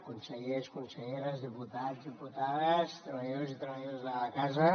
consellers conselleres diputats diputades treballadors i treballadors de la casa